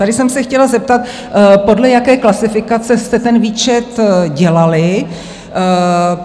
Tady jsem se chtěla zeptat, podle jaké klasifikace jste ten výčet dělali?